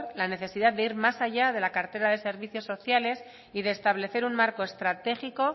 la necesidad de ir más allá de la cartera de servicios sociales y de establecer un marco estratégico